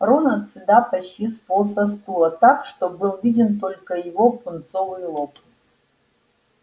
рон от стыда почти сполз со стула так что был виден только его пунцовый лоб